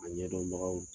A ɲɛdɔnbagaw